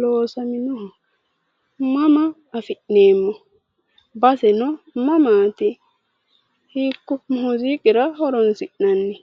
loosaminoho? Mama afi'neemmo? Baseno mamaati? Hiikko muuziiqira horonsi'nanni?